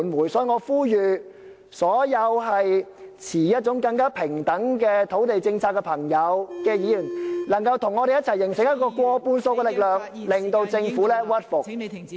因此，我呼籲所有支持更平等土地政策的議員能夠與我們一起形成一股過半數的力量......